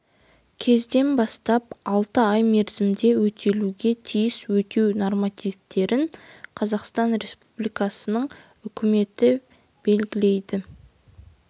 кезден бастап алты ай мерзімде өтелуге тиіс өтеу нормативтерін қазақстан республикасының үкіметі белгілейді